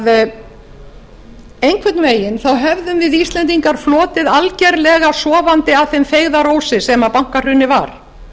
að einhvern veginn höfðum við íslendingar flotið algerlega sofandi að þeim feigðarósi sem bankahrunið var